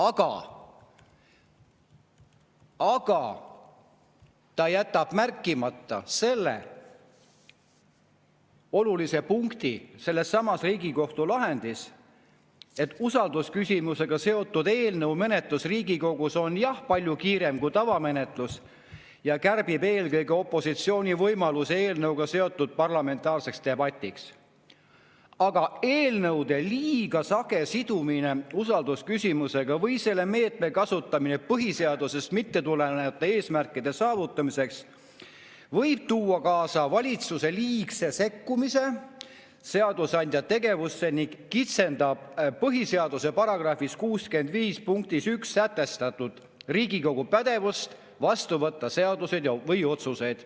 Aga ta jätab märkimata selle olulise punkti sellessamas Riigikohtu lahendis, et usaldusküsimusega seotud eelnõu menetlus Riigikogus on jah palju kiirem kui tavamenetlus ja kärbib eelkõige opositsiooni võimalusi eelnõuga seotud parlamentaarseks debatiks, ent eelnõude liiga sage sidumine usaldusküsimusega või selle meetme kasutamine põhiseadusest mitte tulenevate eesmärkide saavutamiseks võib tuua kaasa valitsuse liigse sekkumise seadusandja tegevusse ning kitsendab põhiseaduse § 65 punktis 1 sätestatud Riigikogu pädevust vastu võtta seaduseid ja otsuseid.